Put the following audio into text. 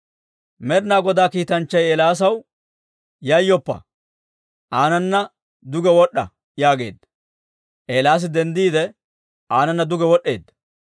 Med'inaa Godaa kiitanchchay Eelaasaw, «Yayyoppa! Aanana duge wod'd'a» yaageedda. Eelaasi denddiide, aananna duge wod'd'eedda.